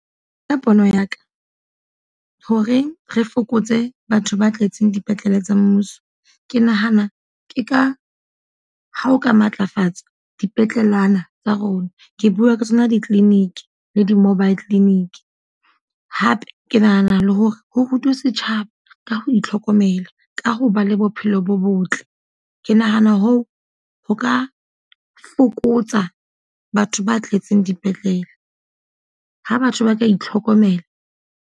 Ka pono ya ka, hore re fokotse batho ba tletseng dipetlele tsa mmuso. Ke nahana ke ka ha o ka matlafatsa dipetlelenyana tsa rona. Ke bua ka tsona di-clinic le di-mobile clinic. Hape ke nahana le hore ho rutwe setjhaba ka ho itlhokomela, ka ho ba le bophelo bo botle. Ke nahana hoo ho ka fokotsa batho ba tletseng dipetlele. Ha batho ba ka itlhokomela.